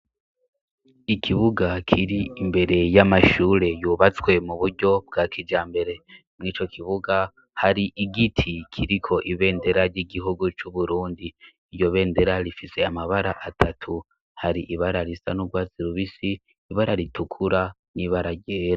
Ikibuga kiri imbere y'amashure yubatswe mu buryo bwa kijambere; muri ico kibuga, hari igiti kiriko ibendera ry'igihugu c'Uburundi; iryo bendera rifise amabara atatu; hari ibara risa n'urwatsi rubisi, ibara ritukura n'ibara ryera.